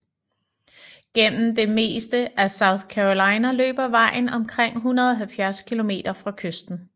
Gennem det meste af South Carolina løber vejen omkring 170 km fra kysten